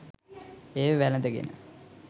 එය වැළඳගෙන